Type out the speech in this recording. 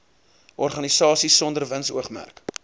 organisasies sonder winsoogmerk